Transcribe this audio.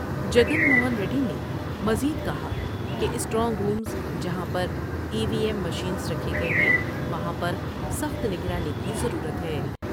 جگن موہن ریڈی نے مزید کہا کہ اسٹرانگ روس جہاں پر ای وی ایم مفلس رکھے گئے ہیں وہاں پرسخت نگرانی کی ضرورت ہے ۔